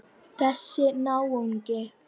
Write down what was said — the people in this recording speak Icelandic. Þessi náungi.